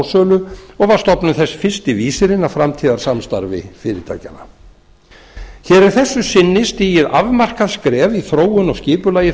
raforkusmásölu og var stofnun þess fyrsti vísirinn að framtíðarsamstarfi fyrirtækjanna hér er að þessu sinni stigið afmarkað skref í þróun og skipulagi